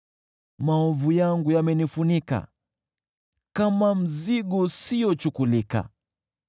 Maovu yangu yamenifunika kama mzigo usiochukulika.